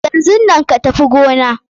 Yanzun nan ka Tafi gona!